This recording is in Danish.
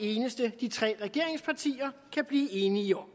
det eneste de tre regeringspartier kan blive enige om